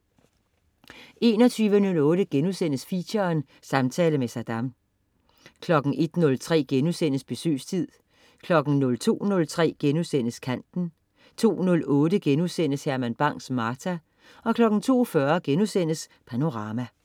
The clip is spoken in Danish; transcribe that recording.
21.08 Feature: Samtale med Saddam* 01.03 Besøgstid* 02.03 Kanten* 02.08 Herman Bang: Martha* 02.40 Panorama*